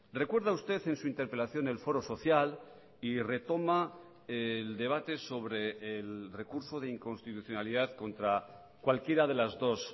recuerda usted en su interpelación el foro social y retoma el debate sobre el recurso de inconstitucionalidad contra cualquiera de las dos